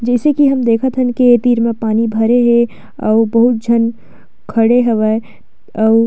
जइसे की हम देखत हन की ये तीर मे पानी भरे हे अउ बहुत झन खड़े हवय अऊ--